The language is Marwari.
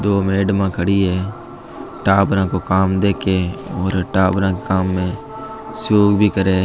दो मेडमा खड़ी है टाबरा का काम देखे है और टाबरा का काम में भी करे है।